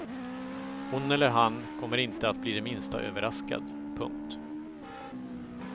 Hon eller han kommer inte att bli det minsta överraskad. punkt